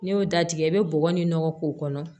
N'i y'o datigɛ i bɛ bɔgɔ ni nɔgɔ k'o kɔnɔ